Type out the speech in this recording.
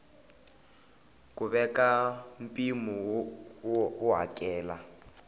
ku veka mpimo wo hakela